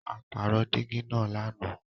À pàró dígì naá làná.